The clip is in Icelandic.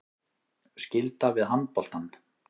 Skylda við handboltann